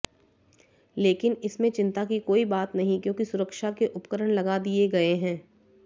लेकिन इसमें चिंता की कोई बात नहीं क्योंकि सुरक्षा के उपकरण लगा दिए गए हैं